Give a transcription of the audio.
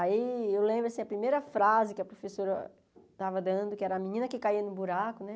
Aí eu lembro, assim, a primeira frase que a professora estava dando, que era a menina que caía no buraco, né?